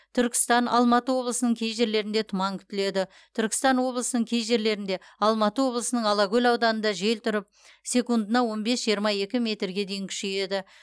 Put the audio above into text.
түркістан алматы облысының кей жерлерінде тұман күтіледі түркістан облысының кей жерлерінде алматы облысының алакөл ауданында жел тұрып секундына он бес жиырма екі метрге дейін күшейеді